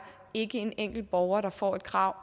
ikke er en enkelt borger der får et krav